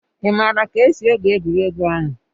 Ị maara ka esi egwu egwuregwu ahụ?